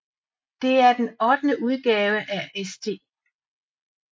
Det er den ottende udgave af St